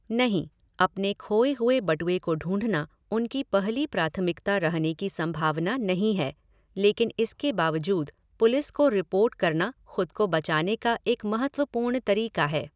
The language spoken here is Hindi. नहीं, अपने खोए हुए बटुए को ढूंढना उनकी पहली प्राथमिकता रहने की संभावना नहीं है, लेकिन इसके बावजूद, पुलिस को रिपोर्ट करना खुद को बचाने का एक महत्वपूर्ण तरीका है।